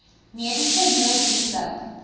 mediese nooddienste